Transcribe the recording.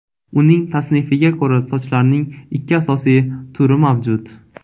Uning tasnifiga ko‘ra, sochlarning ikki asosiy turi mavjud.